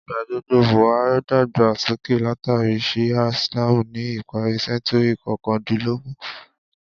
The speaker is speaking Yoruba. Ìgbàgbọ́ Buha’í dàgbà sókè látàrí Shi’a Islam ni ìparí sẹ́ńtúrì kọkàndínlógún.